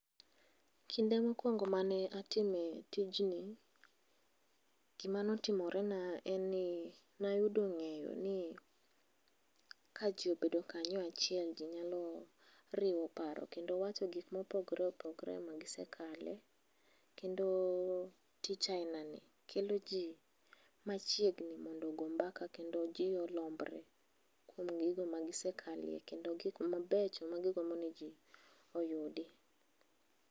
Kinde mokuongo' mane atimo tijni, gimane otimorena eni nayudo nge'yo ni kajiobedo kanyo achiel jinyalo riwo paro kendo wacho gik ma popogore opogore magikale kendo tich ahinani kelo ji machiegni mondo ogombaka kendo ji orambre kuom gigo magisekale gik mabecho magigombo ni ji oyudi.